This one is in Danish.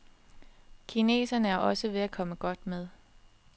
Kineserne er også ved at komme godt med.